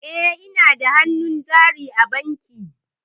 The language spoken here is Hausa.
E, ina da hannun jari a bankin.